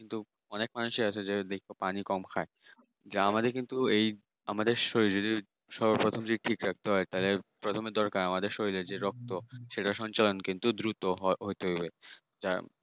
কিন্তু অনেক মানুষই আছে যদি পানি কম খায় যা আমাদের কিন্তু এই আমাদের শরীরে সর্বপ্রথম যদি ঠিক রাখতে হয় তাহলে প্রথমে দরকার আমাদের শরীরে যে রক্ত সেটা সঞ্চয়ন কিন্তু খুব দ্রুত হয়। শরীরে। যার